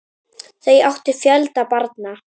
Þau áttu fjölda barna.